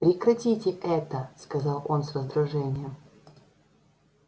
прекратите это сказал он с раздражением